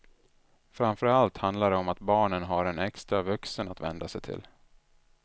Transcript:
Framför allt handlar det om att barnen har en extra vuxen att vända sig till.